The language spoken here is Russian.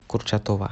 курчатова